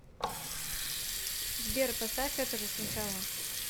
сбер поставь это же сначала